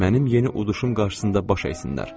Mənim yeni uduşum qarşısında baş əysinlər.